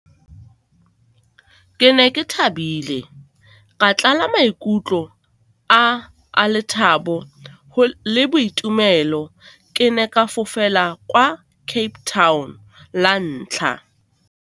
Ke ne ke thabile, ka tlala maikutlo a a lethabo le boitumelo, ke ne ke fofela kwa Cape Town la ntlha.